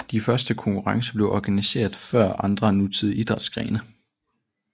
De første konkurrencer blev organiseret før andre nutidige idrætsgrene